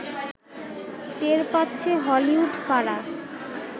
টের পাচ্ছে হলিউড পাড়া